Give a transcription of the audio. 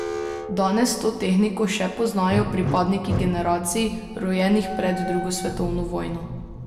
Danes to tehniko še poznajo pripadniki generacij, rojenih pred drugo svetovno vojno.